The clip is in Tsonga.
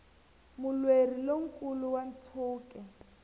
mulweri lo nkulu wa ntshuke